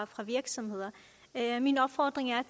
fra virksomheder min opfordring er